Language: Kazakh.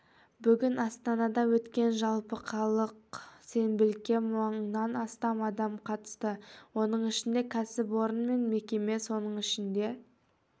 бүгін астанада өткен жалпықалалық сенбілікке мыңнан астам адам қатысты оның ішінде кәсіпорын мен мекеме соның ішінде